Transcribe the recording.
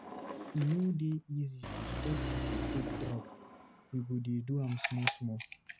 E no dey easy to stop to dey take drug, you go dey do am small small.